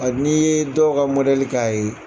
Kabini i ye dɔw ka mɔdɛli k'a ye.